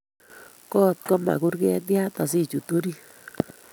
Goot koma kurget yaat asichut orit